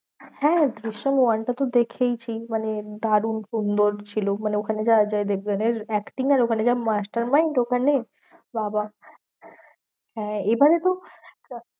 হ্যাঁ দৃশ্যাম one টা তো দেখেইছি মানে দারুন সুন্দর ছিল। মানে ওখানে অজয় দেবগানের acting এর ওখানে যেমন master mind ওখানে বাহবাহ হ্যাঁ এবারে তো